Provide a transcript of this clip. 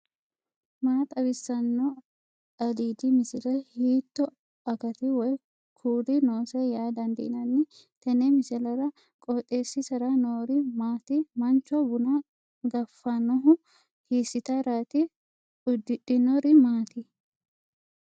maa xawissanno aliidi misile ? hiitto akati woy kuuli noose yaa dandiinanni tenne misilera? qooxeessisera noori maati ? macho buna gafidhinohu hiissitaraati uddidhinori maati